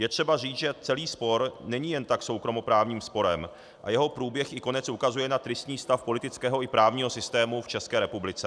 Je třeba říct, že celý spor není jen tak soukromoprávním sporem a jeho průběh i konec ukazuje na tristní stav politického i právního systému v České republice.